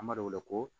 An b'a wele ko